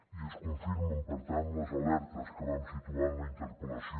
i es confirmen per tant les alertes que vam situar en la interpel·lació